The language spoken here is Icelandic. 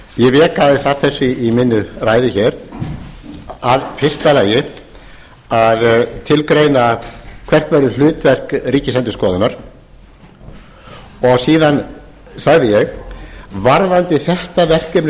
ég vék aðeins að þessu í minni ræðu hér í fyrsta lagi að tilgreina hvert væri hlutverk ríkisendurskoðunar og síðan sagði ég varðandi þetta verkefni